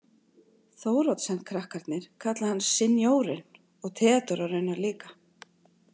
Thoroddsenkrakkarnir kalla hann sinjórinn og Theodóra raunar líka.